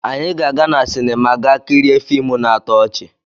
Anyị ga-aga na sinima ga kirie fiimu na-atọ ọchị.